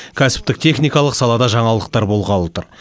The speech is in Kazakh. кәсіптік техникалық салада жаңалықтар болғалы тұр